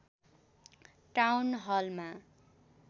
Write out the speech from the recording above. town Halma